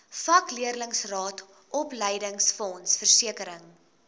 vakleerlingraad opleidingsfonds versekering